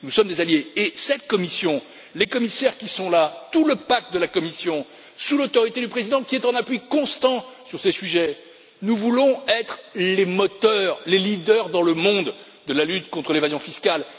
Nous sommes des alliés, et cette Commission, tous les commissaires qui sont là, placés sous l'autorité du président, qui est en appui constant sur ces sujets, nous voulons être les moteurs, les leaders dans le monde de la lutte contre l'évasion fiscale.